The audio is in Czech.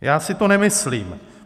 Já si to nemyslím.